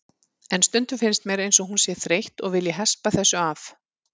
En stundum finnst mér eins og hún sé þreytt og vilji hespa þessu af.